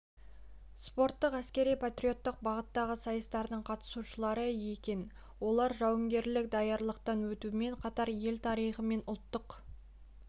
спорттық әскери-патриоттық бағыттағы сайыстардың қатысушылары екен олар жауынгерлік даярлықтан өтумен қатар ел тарихы мен ұлттық